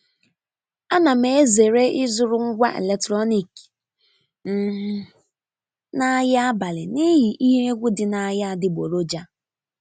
A na m ezere ịzụrụ ngwa eletrọnik um n'ahịa abalị n'ihi ihe egwu dị n'ahịa adịgboroja.